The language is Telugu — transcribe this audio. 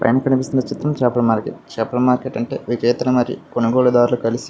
పైన కనిపిస్తున్న చిత్రం చేపల మార్కెట్ చేపల మార్కెట్ అంటే వినియోగదారులు మరియు కొనుగోలు దారులు కలిసి.